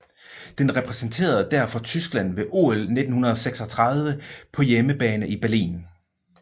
Den repræsenterede derfor Tyskland ved OL 1936 på hjemmebane i Berlin